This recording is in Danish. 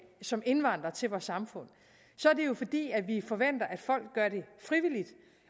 som indvandrere til vores samfund så er det jo fordi vi forventer at folk gør det frivilligt